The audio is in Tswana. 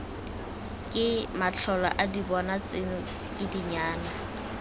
ke matlholaadibona tseno ke dinyana